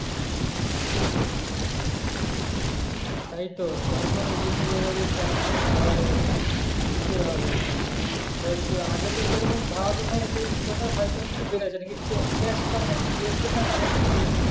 তাই তো সরকারের জিনিস এরা যদি tax ই না ভরে তো কি করে হবে তো তো আগে তো সেইরকম ভারা হয়ত কিছু বেড়েছে নাকি